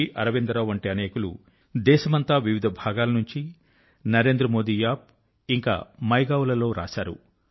అరవిందరావు వంటి అనేకులు దేశమంతా వివిధ భాగాల నుంచి నరేంద్రమోది App మైగోవ్ లలో వ్రాశారు